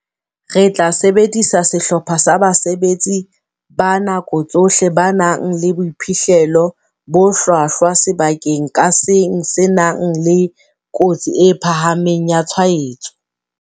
"Re tla sebedisa sehlopha sa basebetsi ba nako tsohle ba nang le boiphihlelo bo hlwahlwa sebakeng ka seng se nang le kotsi e phahameng ya tshwaetso."